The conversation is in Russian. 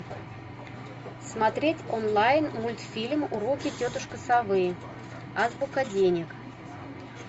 смотреть онлайн мультфильм уроки тетушки совы азбука денег